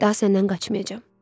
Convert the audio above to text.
Daha səndən qaçmayacam.